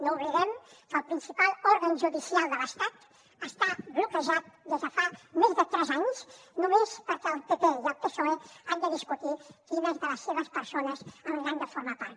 no oblidem que el principal òrgan judicial de l’estat està bloquejat des de fa més de tres anys només perquè el pp i el psoe han de discutir quines de les seves persones n’han de formar part